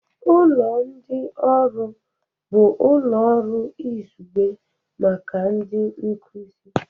Ụlọ ndị ọrụ bụ ụlọ ọrụ izugbe maka ndị nkuzi